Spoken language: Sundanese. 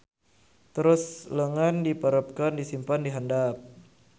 Terus leungeun dipeureupkeun disimpen dihandap.